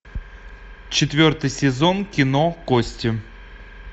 четвертый сезон кино кости